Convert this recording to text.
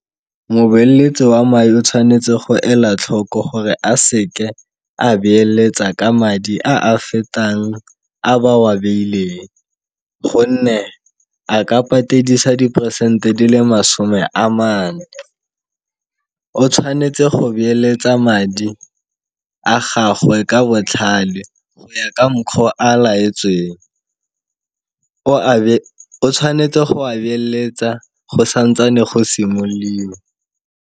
Mobeeletsi wa madi o tshwanetse go ela tlhoko gore a seke a beeletsa ka madi a a fetang a ba wa beileng, gonne a ka patedisa diperesente di le masome a mane. O tshwanetse go beeletsa madi a gagwe ka botlhale go ya ka mokgo a laetsweng, o tshwanetse go a beeletsa go santsane go simololiwa.